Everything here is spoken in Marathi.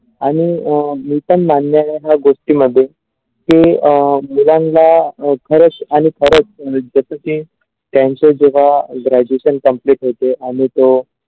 आणि अ मी पण मान्य आहे या गोष्टीमध्ये की अ मुलांना खरच आणि खरच जसेकी त्यांच्या जगा graduation complete होतो आणि तो.